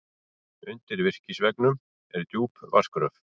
Undir virkisveggnum er djúp vatnsgröf.